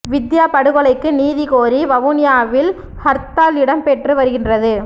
வித்தியா படுகொலைக்கு நீதி கோரி வவுனியாவில் ஹர்த்தால் இடம்பெற்று வருகின்றது